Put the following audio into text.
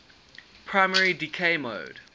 primary decay mode